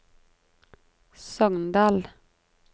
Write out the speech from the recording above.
Sogndal